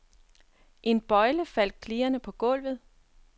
En bøjle faldt klirrende på gulvet.